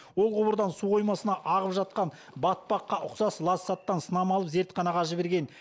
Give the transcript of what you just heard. ол құбырдан су қоймасына ағып жатқан батпаққа ұқсас лас заттан сынама алып зертханаға жіберген